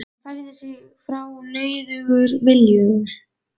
Hann færði sig frá nauðugur viljugur.